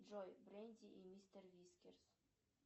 джой бренди и мистер вискерс